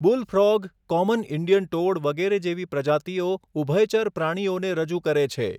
બુલ frog, common Indian toad વગેરે જેવી પ્રજાતિઓ ઉભયચર પ્રાણીઓને રજૂ કરે છે.